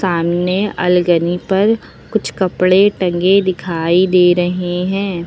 सामने अलगनी पर कुछ कपड़े टंगे दिखाई दे रहे हैं।